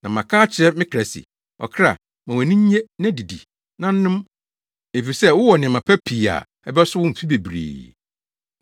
Na maka akyerɛ me kra se, “Ɔkra, ma wʼani nnye na didi, na nom, efisɛ wowɔ nneɛma pa pii a ɛbɛso wo mfe bebree!” ’